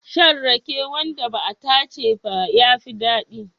Shan rake wanda ba a tace ba ya fi daɗi.